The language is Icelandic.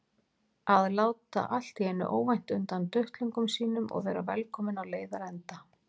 Að láta allt í einu óvænt undan duttlungum sínum og vera velkominn á leiðarenda.